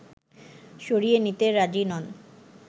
সরিয়ে নিতে রাজি নন